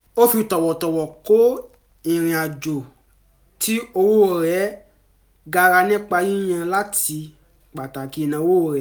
ó fi tọ̀wọ̀tọ̀wọ̀ kọ ìrìnàjò tí owó rẹ̀ gara nípa yíyàn láti pàtàkì ìnáwó rẹ̀